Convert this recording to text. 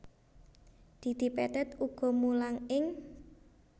Didi Petet uga mulang ing